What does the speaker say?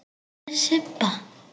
Hvar er Sibba?